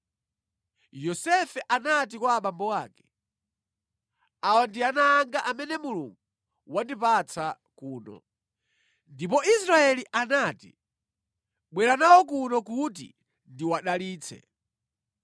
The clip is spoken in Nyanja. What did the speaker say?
Yosefe anati kwa abambo ake, “Awa ndi ana anga amene Mulungu wandipatsa kuno.” Ndipo Israeli anati, “Bwera nawo kuno kuti ndiwadalitse.”